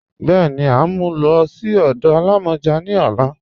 Bẹ́ẹni, à n mú ú lọ sí ọdọ àlàmọjá ní ọ̀là